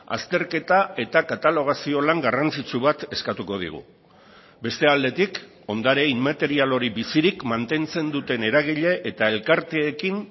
azterketa eta katalogazio lan garrantzitsu bat eskatuko digu beste aldetik ondare inmaterial hori bizirik mantentzen duten eragile eta elkarteekin